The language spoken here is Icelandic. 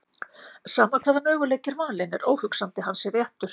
Sama hvaða möguleiki er valinn er óhugsandi að hann sé réttur.